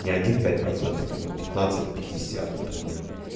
не один-пять процентов там а пятнадцать-пятьдесят например